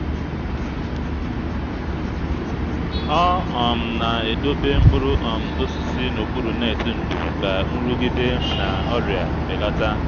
ọ um na-edobe mkpụrụ um osisi n’okpuru netị ndò ka nrụgide na ọrịa belata.